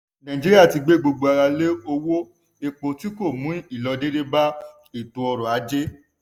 nàìjíríà ti gbé gbogbo ara lé owó epo tí kò mú ìlọdédé bá ètò ọrọ̀ ajé.